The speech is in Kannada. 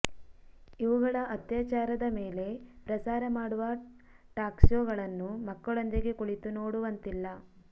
ಇವುಗಳ ಅತ್ಯಾಚಾರದ ಮೇಲೆ ಪ್ರಸಾರ ಮಾಡುವ ಟಾಕ್ಶೋಗಳನ್ನು ಮಕ್ಕಳೊಂದಿಗೆ ಕುಳಿತು ನೋಡುವಂತಿಲ್ಲ